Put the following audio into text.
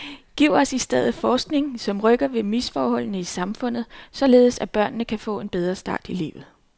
Giv os i stedet forskning, som rykker ved misforholdene i samfundet, således at børnene kan få en bedre start i livet.